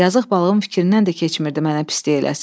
Yazıq balığın fikrindən də keçmirdi mənə pislik eləsin.